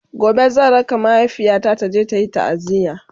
gobe zan raka mahaifiyata taje tayi taaziya